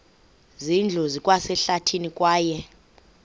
zindlu zikwasehlathini kwaye